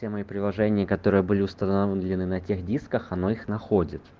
те мои приложения которые были установлены на тех дисках оно их находит